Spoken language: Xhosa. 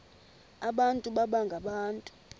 abantu baba ngabantu